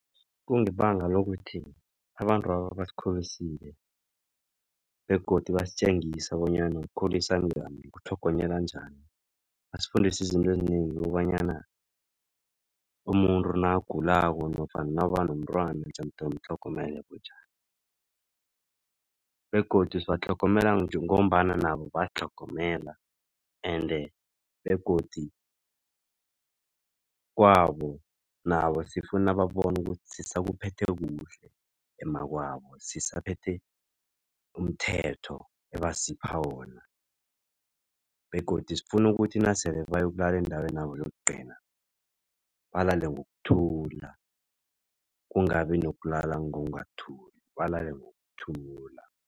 Kungebanga lokuthi abantwaba basikhulisile begodu basitjengisa bonyana kukhulisa njani, kutlhogonyelwa njani. Basifundisa izinto ezinengi kobanyana umuntu nakagulako nofana abanomntwana jemude umtlhogomela bunjani begodu sibatlhogomele ngombana nabo basitlhogomela. Ende begodi kwabo nabo sifuna babone ukuthi sisakuphethe kuhle emakwabo. Sisaphethe umthetho ebasipha wona begodu sifuna ukuthi nasele bayokulala endaweni yabo yokugcina, balale ngokuthula kungabi nokulala ngokungathuli balale ngokuthula.